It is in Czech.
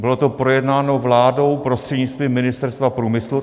Bylo to projednáno vládou prostřednictvím Ministerstva průmyslu.